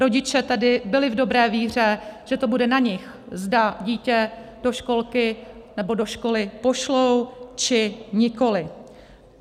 Rodiče tedy byli v dobré víře, že to bude na nich, zda dítě do školky nebo do školy pošlou, či nikoliv.